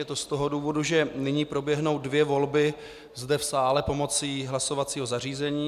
Je to z toho důvodu, že nyní proběhnou dvě volby zde v sále pomocí hlasovacího zařízení.